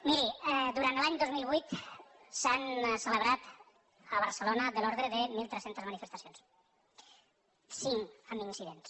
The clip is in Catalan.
miri durant l’any dos mil vuit s’han celebrat a barcelona de l’ordre de mil tres centes manifestacions cinc amb incidents